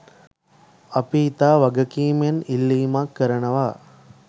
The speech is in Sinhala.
අපි ඉතා වගකීමෙන් ඉල්ලීමක් කරනවා.